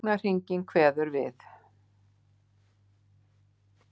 Klukknahringing kveður við.